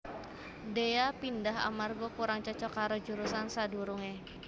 Dhea pindhah amarga kurang cocok karo jurusan sadurunge